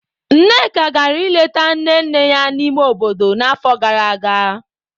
Nneka gara ileta nne nne ya n'ime obodo n'afọ gara aga.